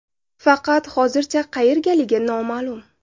Faqat hozircha qayergaligi noma’lum.